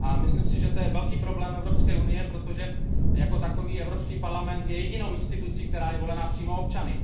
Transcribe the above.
a myslím si, že je to velký problém Evropské unie, protože Evropský parlament je jedinou institucí, která je volena přímo občany.